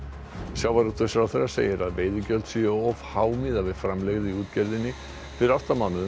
sjávarútvegsráðherra segir að veiðigjöld séu of há miðað við framlegð í útgerðinni fyrir átta mánuðum